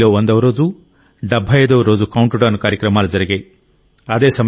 ఢిల్లీలో 100వ రోజు 75వ రోజు కౌంట్ డౌన్ కార్యక్రమాలు జరిగాయి